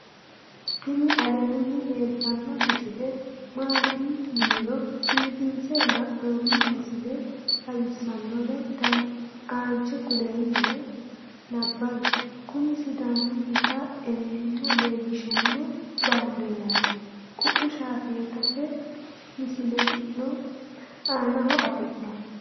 tini aleenni leeltanno misile maati yiniro biifinse haa'noni misile xawisssannore aanche kuleemmona nabawi kuni sidaamunnita ewelimma leellishshanno baandeerati kui shaafetate misileno aanaho afi'noho